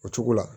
O cogo la